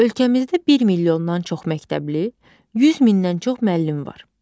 Ölkəmizdə 1 milyondan çox məktəbli, 100 mindən çox müəllim var.